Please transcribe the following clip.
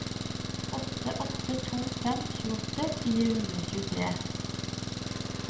åtte åtte to fem tjueåtte fire hundre og tjuetre